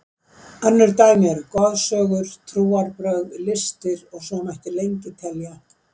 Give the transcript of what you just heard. Önnur dæmi eru goðsögur, trúarbrögð, listir og svo mætti lengi telja.